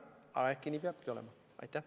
Aga äkki nii peabki olema?